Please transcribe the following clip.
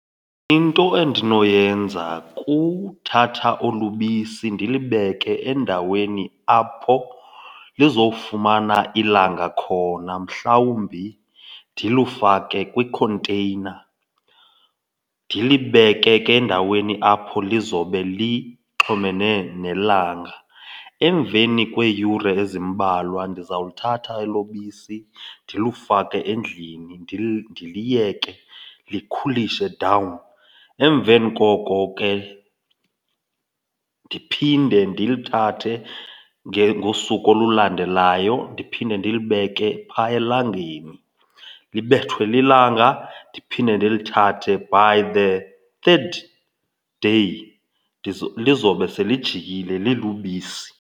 Into endinoyenza kuthatha olu ubisi ndilibeke endaweni apho lizofumana ilanga khona, mhlawumbi ndilifake kwikhonteyina ndilibeke ke endaweni apho lizobe lixhomene nelanga. Emveni kweeyure ezimbalwa ndizawuthatha elo bisi ndilufake endlini ndiliyeke likhulishe dawuni. Emveni koko ke, ndiphinde ndiluthathe ngosuku olulandelayo ndiphinde ndilibeke phaya elangeni, libethwe lilanga ndiphinde ndilithathe. By the third day lizawube selijikile lilubisi.